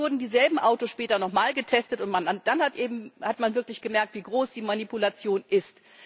Dann wurden dieselben Autos später nochmal getestet, und dann hat man wirklich gemerkt, wie groß die Manipulation ist.